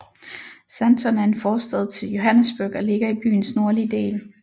Sandton er en forstad til Johannesburg og ligger i byens nordlige del